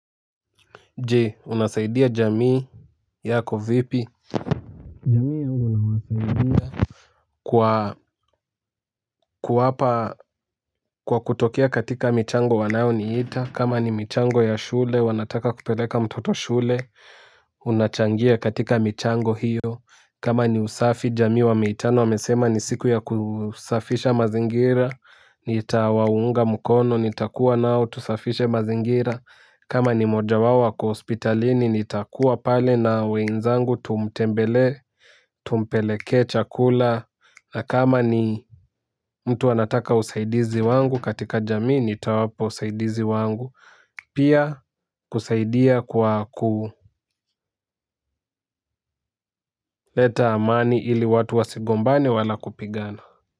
Je unasaidia jamii yako vipi jamii yangu nawasaidia kwa kuwapa kwa kutokea katika michango wanayoniita kama ni michango ya shule wanataka kupeleka mtoto shule unachangia katika michango hiyo kama ni usafi jamii wameitana wamesema ni siku ya kusafisha mazingira. Nitawaunga mkono nitakuwa nao tusafishe mazingira kama ni mmoja wao ako hospitalini nitakuwa pale na wenzangu tumtembelee tumpelekee chakula. Kama ni mtu anataka usaidizi wangu katika jamii nitawapa usaidizi wangu. Pia kusaidia kwa kuleta amani ili watu wasigombane wala kupigana.